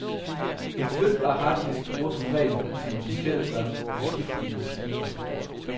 En flytbar harddisk bruger som regel, ligesom diskettedrev, udskiftelige skiver.